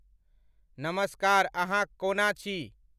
नमस्कार अहां कओना छी?